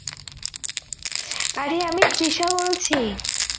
আরে আমি তৃষা বলছি